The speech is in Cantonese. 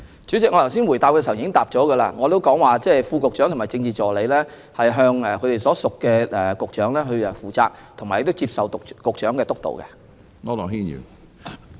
主席，我剛才答覆時表示，副局長和政治助理要向所屬局長負責及接受局長的督導。